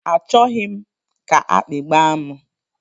A chọghị m ka akpi gbaa m.